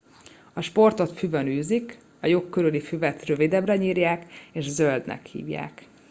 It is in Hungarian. a sportot füvön űzik a lyuk körüli füvet rövidebbre nyírják és zöldnek hívják